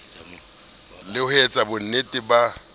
le ho etsa bonnete ba